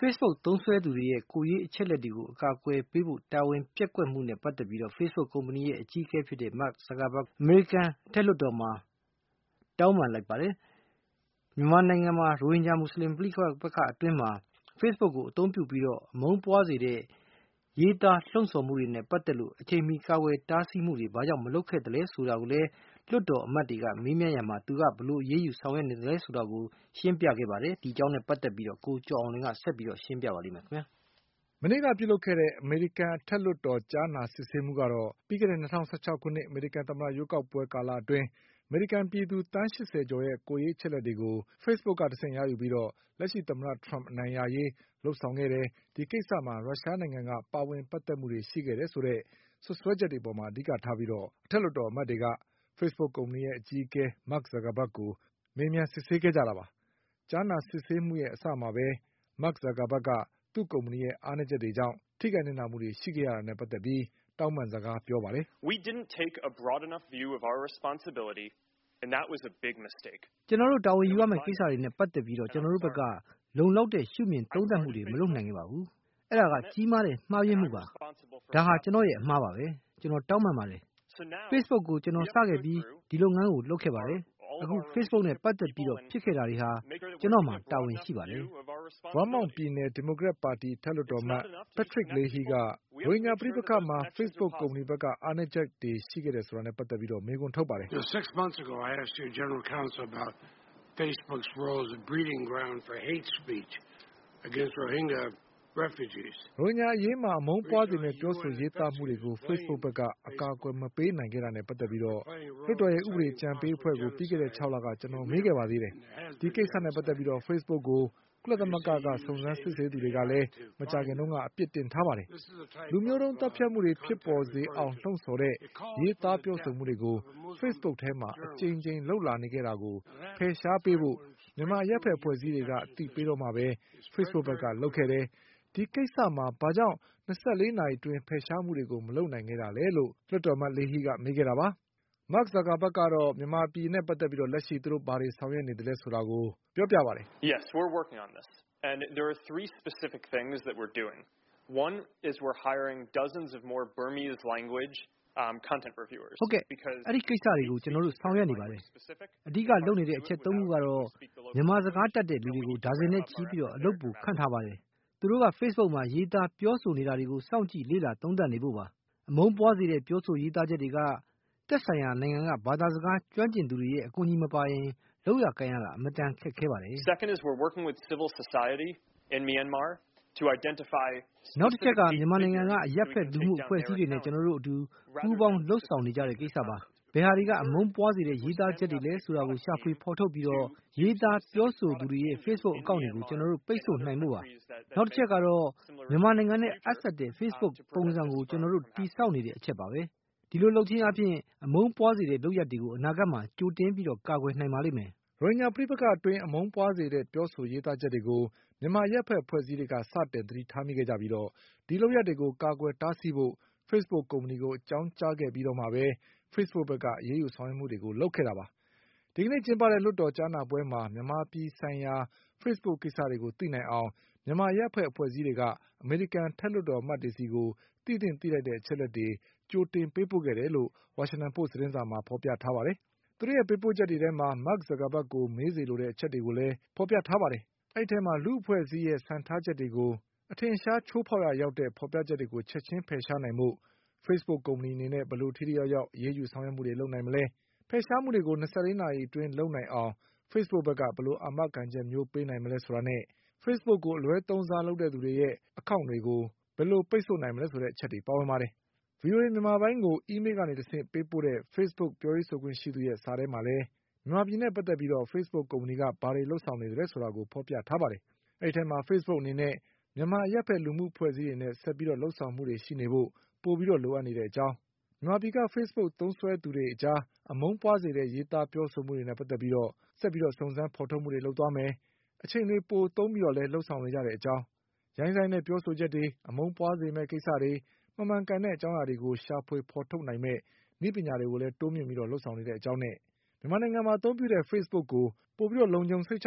Facebook သုံးစွဲသူတွေရဲ့ကိုယ်ရေးအချက်အလက်တွေကို အကာအကွယ်ပေးဖို့ တာဝန်ပျက်ကွက်မှုနဲ့ပတ်သက်ပြီး Facebookကုမ္ပဏီရဲ့အကြီးအကဲ Mark Zuckerbergက အမေရိကန်လွှတ်တော်မှာ တောင်းပန်လိုက်ပါတယ်။ မြန်မာနိုင် ငံက ရိုဟင်ဂျာမူဆလင်ပဋိပက္ခအတွင်းမှာ Facebookကိုအသုံးပြုပြီး အမုန်းပွါးစေတဲ့ရေးသားပြောဆိုမှုတွေနဲ့ပတ်သက်လို့ အချိန်မှီကာကွယ်တားဆီးမှုတွေ ဘာကြောင့်မလုပ်ခဲ့သလဲဆိုတာကိုလည်း လွှတ်တော်အမတ်တွေက မေးမြန်းခဲ့ပါတယ်။ ဒီအကြောင်းနဲ့ပတ်သက်ပြီး ကိုကျော်အောင်လွင်က ဆက်ပြီးရှင်းပြပါလိမ့်မယ်။ မနေ့ကပြုလုပ်ခဲ့တဲ့ အမေရိကန်အထက်လွှတ်တော်ကြားနာစစ်ဆေးမှုကတော့ ပြီးခဲ့တဲ့၂၀၁၆ခုနှစ်အမေရိကန်သမ္မတရွေး ကောက်ပွဲကာလအတွင်း အမေရိကန်ပြည်သူသန်းရှစ်ဆယ်ကျော်ရဲ့ ကိုယ်ရေးအချက်အလက်တွေကို Facebook က တဆင့်ရယူပြီးတော့ လက်ရှိသမ္မတထရမ့်အနိုင်ရရေး လုပ်ဆောင်ခဲ့တယ်၊ ဒီကိစ္စမှာရုရှားနိုင်ငံက ပါဝင်ပတ်သက်မှုရှိတယ် ဆိုတဲ့စွပ်စွဲချက်တွေအပေါ်မှာအဓိကထားပြီး အထက်လွှတ်တော်အမတ်တွေက Facebook ကုမ္ပဏီရဲ့အကြီးအကဲ Mark Zuckerberg ကို မေးမြန်းစစ်ဆေးခဲ့တာပါပဲ။ ကြားနာစစ်ဆေးပွဲရဲ့အစမှာပဲ Mark Zuckerbergက သူ့ကုမ္ပဏီရဲ့အားနည်း ချက်တွေကြောင့် ထိခိုက်နစ်နာမှုတွေရှိခဲ့ရတာနဲ့ပတ်သက်ပြီး တောင်းပန်စကားပြောပါတယ်။ "ကျနော်တို့တာဝန်ယူရမယ့်ကိစ္စတွေနဲ့ပတ်သက်ပြီး ကျနော်တို့ဘက်က လုံလောက်တဲ့ရှုမြင်သုံးသတ်မှုတွေမလုပ်နိုင်ခဲ့ ပါဘူး။ အဲဒါက ကြီးမားတဲ့ မှားယွင်းမှုပါ။ ဒါဟာ ကျနော့်ရဲ့ အမှားပါပဲ။ ကျနော်တောင်းပန်ပါတယ်။ Facebook ကို ကျနော် စခဲ့ပြီး ဒီလုပ်ငန်းကို လုပ်ခဲ့တယ်၊ အခု Facebookနဲ့ပတ်သက်ပြီးဖြစ်ခဲ့တာတွေဟာ ကျနော့်မှာ တာဝန်ရှိပါတယ်" Vermont ပြည်နယ်ရဲ့ဒီမိုကရက်ပါတီအထက်လွှတ်တော်အမတ် Patrick Leahyက ရိုဟင်ဂျာပဋိပက္ခမှာ Facebook ကုမ္ပဏီဘက်က အားနည်းချက်တွေရှိခဲ့တာနဲ့ပတ်သက်ပြီးမေးခွန်းထုတ်ပါတယ်။ " ရိုဟင်ဂျာအရေးမှာ အမုန်းပွါးစေမယ့် ပြောဆိုရေးသားမှုတွေကို Facebook ဘက်က အကာအကွယ်မပေးနိုင်တာနဲ့ ပတ်သက်ပြီး လွှတ်တော်ရဲ့ဥပဒေအကြံပေး အဖွဲ့ကို ပြီးခဲ့တဲ့၆လက ကျနော်မေးခဲ့ပါသေးတယ်။ ဒီကိစ္စနဲ့ပတ်သက်ပြီး Facebookကို ကုလသမဂ္ဂကစုံစမ်းစစ်ဆေးသူ တွေကလည်း မကြာခင်က အပြစ်တင်ထားပါတယ်။ လူမျိုးတုံးသတ်ဖြတ် မှုတွေဖြစ်ပေါ် စေအောင်လှုံ့ဆော်တဲ့ ရေးသား ပြောဆိုမှုတွေကို Facebookထဲမှာ အကြိမ်ကြိမ်လုပ်လာနေတာကို ဖယ်ရှားပေးဖို့ မြန်မာအရပ်ဘက်အဖွဲ့အစည်းတွေက အသိပေးမှပဲ Facebookဘက်ကလုပ်ခဲ့တယ်။ ဒီကိစ္စမှာ ဘာကြောင့် ၂၄နာရီအတွင်း ဖယ်ရှားမှုတွေကို မလုပ်ခဲ့တာလဲ" လို့ လွှတ်တော်အမတ် Leahyကမေးခဲ့တာပါ Mark Zuckerbergကတော့ မြန်မာနိုင်ငံနဲ့ပတ်သက်ပြီး သူတို့လောလောဆယ်ဘာတွေလုပ်နေသလဲဆိုတာကို ရှင်းပြပါတယ်။ "ဟုတ်ကဲ့ ဒီကိစ္စတွေကို ကျနော်တို့ဆောင်ရွက်နေပါတယ်။ အဓိကလုပ်နေတဲ့အချက်သုံးခုကတော့ မြန်မာစကားတတ်တဲ့ လူတွေကို ဒါဇင်နဲ့ချီပြီးအလုပ်ပိုခန့်ထားပါတယ်။ သူတို့က Facebookမှာရေးသားပြောဆိုနေတာတွေကို စောင့်ကြည့်လေ့ လာသုံးသတ်နေဖို့ပါ။ အမုန်းပွါးစေတဲ့ပြောဆိုရေးသားချက်တွေက သက်ဆိုင်ရာနိုင်ငံက ဘာသာစကားကျွမ်းကျင်သူတွေ ရဲ့အကူအညီမပါရင် လုပ်ကိုင်ရတာ အင်မတန်ခက်ခဲပါတယ်။" " နောက်တချက်က မြန်မာနိုင်ငံက အရပ်ဘက်လူမှုအဖွဲ့အစည်းတွေနဲ့ကျနော်တို့အတူပူးပေါင်းလုပ်ဆောင်နေကြတဲ့ ကိစ္စပါ။ ဘယ်ဟာတွေက အမုန်းပွါးစေတဲ့ရေးသားချက်တွေလဲဆိုတာကို ရှာဖွေဖေါ်ထုတ်ပြီး ရေးသားပြောဆိုသူတွေရဲ့ Facebook Account တွေကို ကျနော်တို့ပိတ်ဆို့နိုင်ဖို့ပါ။နောက်တချက်ကတော့ မြန်မာနိုင်ငံနဲ့အပ်စပ်တဲ့ Facebook ပုံစံကို ကျနော်တို့တည်ဆောက်နေတဲ့အချက်ပါပဲ။ ဒီလိုလုပ်ခြင်းအားဖြင့် အမုန်းပွါးစေတဲ့လုပ်ရပ်တွေကို အနာဂတ်မှာကြိုတင် ကာကွယ်နိုင်ပါလိမ့်မယ်။" ရိုဟင်ဂျာပဋိပက္ခအတွင်း အမုန်းပွါးစေတဲ့ပြောဆိုရေးသားချက်တွေကို မြန်မာအရပ်ဖက်အဖွဲ့အစည်းတွေက စတင် သတိ ထားမိခဲ့ကြပြီး ဒီလုပ်ရပ်တွေကို ကာကွယ်တာဆီးဖို့ Facebook ကုမ္ပဏီကိုအကြောင်းကြားခဲ့ပြီးတော့မှပဲ Facebookဘက် ကအရေးယူဆောင်ရွက်မှုတွေလုပ်လာခဲ့တာပါ။ ဒီကနေ့ကျင်းပတဲ့လွှတ်တော်ကြားနာပွဲမှာ မြန်မာပြည်ဆိုင်ရာ Facebook ကိစ္စတွေကိုသိနိုင်အောင် မြန်မာအရပ်ဖက်အဖွဲ့ အစည်းတွေက အမေရိကန်လွှတ်တော်အမတ်တွေဆီကို သိသင့်သိထိုက် တဲ့အချက်အလက်တွေ ကြိုတင်ပေးပို့ခဲ့တယ်လို့ ဝါရှင်တန်ပို့စ်သတင်းစာမှာဖေါ်ပြထားပါတယ်။ သူတို့ရဲ့ပေးပို့ချက်တွေထဲမှာ Mark Zuckerbergကိုမေးစေလိုတဲ့အချက်တွေလည်းဖေါ်ပြထားပါတယ်။ အဲဒီအထဲမှာ လူ့ အဖွဲ့အစည်းစံထားချက်တွေကို အထင်အရှားချိုးဖေါက်ရာရောက်တဲ့ ဖေါ်ပြချက်တွေကို ချက်ချင်းဖယ်ရှားနိုင်ဖို့ Facebook အနေနဲ့ ဘယ်လိုထိထိရောက်ရောက်အရေးယူဆောင်ရွက်မှုတွေလုပ်မလဲ၊ ဖယ်ရှားမှုတွေကို၂၄နာရီအတွင်းလုပ် နိုင် အောင် Facebookက ဘယ်လိုအာမခံချက်ပေးနိုင်မလဲဆိုတာနဲ့ Facebookကို အလွဲသုံးစားလုပ်သူတွေရဲ့ Account တွေ ကို ဘယ်လိုပိတ်ဆို့မလဲဆိုတဲ့ အချက်တွေပါဝင်ပါတယ်။ VOA မြန်မာပိုင်းကို Email ကနေတဆင့်ပေးပို့တဲ့ Facebook ပြောရေးဆိုခွင့်ရှိသူရဲ့စာ ထဲ မှာလည်း မြန်မာပြည်နဲ့ပတ် သက်ပြီး Facebook ကုမ္ပဏီက ဘာတွေလုပ်ဆောင်နေသလဲဆိုတာကို ဖေါ်ပြထားပါတယ်။ Facebook အနေနဲ့ မြန်မာ အရပ်ဖက်လူမှုအဖွဲ့အစည်းတွေနဲ့ ဆက်ပြီး လုပ်ဆောင်မှုတွေရှိနေဖို့ပိုလိုအပ်တဲ့အကြောင်း၊ မြန်မာပြည်က Facebook သုံး စွဲသူတွေအကြား အမုန်းပွါးစေတဲ့ ရေးသားပြောဆိုမှုတွေနဲ့ပတ်သက်ပြီး ဆက်ပြီးစုံးစမ်း ဖေါ်ထုတ်သွားမယ်၊ အချိန်တွေပို သုံးပြီးလည်း လုပ်ဆောင်နေကြတဲ့ အကြောင်း၊ ရိုင်းစိုင်းတဲ့ပြောဆိုချက်တွေ၊ အမုန်းပွါးစေမယ့်ကိစ္စတွေ၊ မမှန်ကန်တဲ့ အကြောင်းအရာတွေ ကိုရှာဖွေဖေါ် ထုတ်နိုင်မယ့် နည်းပညာတွေကိုလည်း တိုးမြင့်ပြီးလုပ်ဆောင်နေတဲ့အကြောင်းနဲ့ မြန်မာ နိုင်ငံမှာအသုံးပြုတဲ့ Facebook ကို ပိုပြီးလုံခြုံစိတ်ချ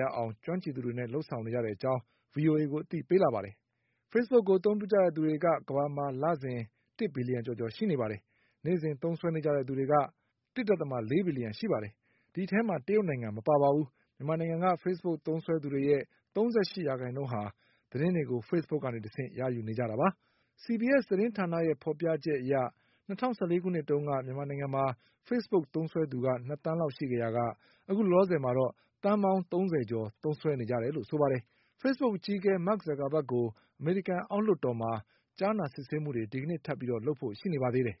ရအောင် ကျွမ်းကျင်သူတွေနဲ့လုပ်ဆောင်နေတဲ့ အကြောင်း ဗွီအိုအေကို အသိပေးလာပါတယ်။ Facebookကို အသုံးပြုကြတဲ့လူတွေက ကမ္ဘာမှာ လစဉ် တစ်ဘီလျှံကျော်ကျော်ရှိနေပါတယ်။ နေ့စဉ်သုံးနေကြတဲ့သူတွေ ကလည်း ၁.၄ ဘီလျှံရှိပါတယ်။ အဲဒီအထဲမှာ တရုတ်နိုင်ငံမပါပါဘူး။ မြန်မာနိုင်ငံက Facebook သုံးစွဲသူတွေရဲ့ ၃၈ ရာခိုင် နှုန်းဟာ သတင်းတွေကို Facebook ကနေတဆင့်ရယူနေပါတယ်။ CBS သတင်းဌာနရဲ့ဖေါ်ပြချက်အရ ၂၀၁၄ခုနှစ်တုန်းက မြန်မာနိုင်ငံမှာ Facebook သုံးစွဲသူ ၂သန်းရှိခဲ့ရာက အခုလောလောဆယ်မှာတော့ သန်းပေါင်း၃၀ ကျော်သုံးစွဲနေကြ တယ်လို့ဆိုပါတယ်။ Facebookရဲ့အကြီးအကဲ Mark Zuckerbergကို အမေရိကန်အောက်လွှတ်တော်မှာ ကြားနာစစ် ဆေးမှုတွေ ဒီကနေ့ထပ်ပြီးလုပ်ဖို့ရှိနေပါသေးတယ်။